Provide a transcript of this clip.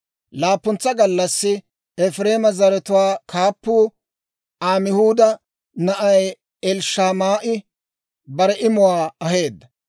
Laappuntsa gallassi Efireema zaratuwaa kaappuu Amihuuda na'ay Elishamaa'i bare imuwaa aheedda.